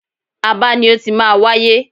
Aba ni ó ti máa wáyé.